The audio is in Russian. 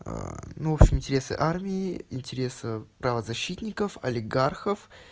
ну в общем интересы армии интересы правозащитников олигархов